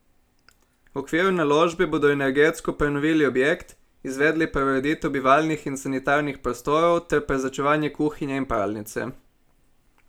V okviru naložbe bodo energetsko prenovili objekt, izvedli preureditev bivalnih in sanitarnih prostorov ter prezračevanje kuhinje in pralnice.